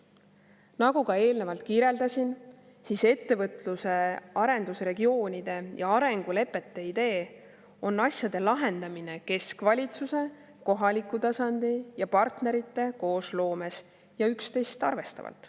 Nagu ma eelnevalt kirjeldasin, on ettevõtluse arendusregioonide ja arengulepete idee asjade lahendamine keskvalitsuse, kohaliku tasandi ja partnerite koosloomes ja üksteist arvestavalt.